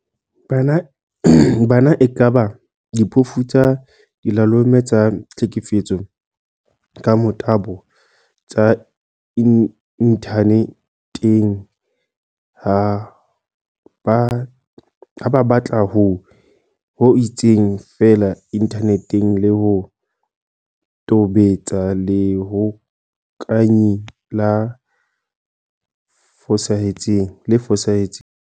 Bana e kaba diphofu tsa dilalome tsa tlhekefetso ka motabo tsa inthane teng ha ba batla ho itseng feela inthaneteng le ho tobetsa lehokanyi le fosahetseng.